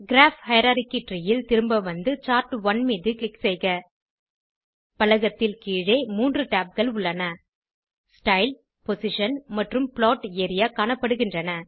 graph hierarchy tree ல் திரும்ப வந்து சார்ட்1 மீது க்ளிக் செய்க பலகத்தில் கீழே மூன்று tabகள் உள்ளன ஸ்டைல் பொசிஷன் மற்றும் ப்ளாட் ஏரியா காணப்படுகின்றன